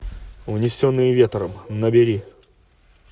унесенные ветром набери